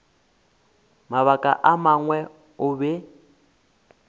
mabaka a mangwe o be